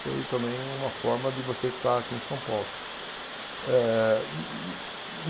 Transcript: Foi também uma forma de você estar aqui em São Paulo. Ehh